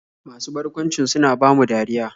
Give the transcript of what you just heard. Masu barkwancin suna bamu dariya.